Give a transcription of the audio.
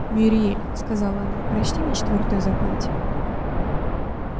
мюриель сказала она прочти мне четвёртую заповедь